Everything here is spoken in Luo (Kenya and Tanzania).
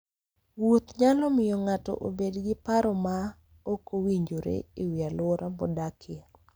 Wuoth nyalo miyo ng'ato obed gi paro ma ok owinjore e wi alwora modakie.